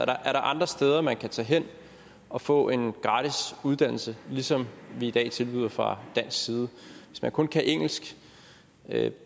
andre steder man kan tage hen og få en gratis uddannelse som vi i dag tilbyder fra dansk side hvis man kun kan engelsk det